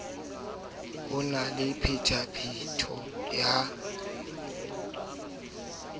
ho na le phetapheto ya